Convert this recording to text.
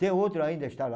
Tem outro ainda, está lá.